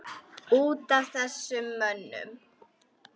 Út af þessum mönnum?